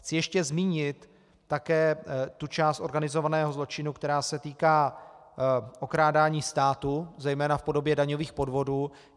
Chci ještě zmínit také tu část organizovaného zločinu, která se týká okrádání státu, zejména v podobě daňových podvodů.